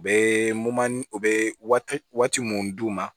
U bɛ u bɛ waati mun d'u ma